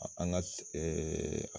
An ka .